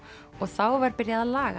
og þá var byrjað að laga